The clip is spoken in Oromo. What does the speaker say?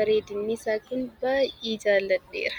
bareedinni isaa Kun baayyee jaalladheera.